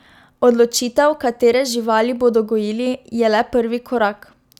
Odločitev, katere živali bodo gojili, je le prvi korak.